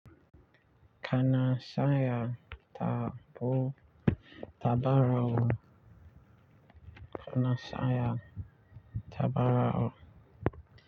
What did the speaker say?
Kana saya tabo tabarawo. Kana saya tabarawo.